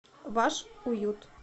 ваш уют